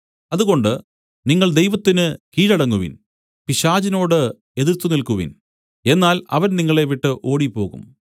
അതുകൊണ്ട് നിങ്ങൾ ദൈവത്തിന് കീഴടങ്ങുവിൻ പിശാചിനോട് എതിർത്തുനിൽക്കുവിൻ എന്നാൽ അവൻ നിങ്ങളെ വിട്ട് ഓടിപ്പോകും